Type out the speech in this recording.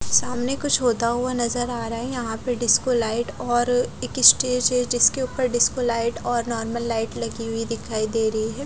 सामने कुच्छ होता हुआ नजर आ रहा है यहा पे डिस्को लाइट और एक स्टेज है जिसके उपर डिस्कोलाइट और नार्मल लाइट लगी हुई दिखाई दे रही है।